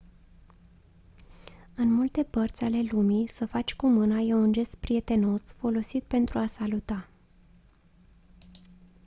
în multe părți ale lumii să faci cu mâna e un gest prietenos folosit pentru a saluta